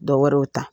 Dɔwɛrɛw ta